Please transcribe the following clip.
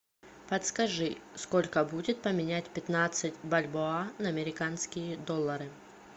подскажи сколько будет поменять пятнадцать бальбоа на американские доллары